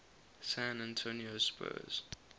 san antonio spurs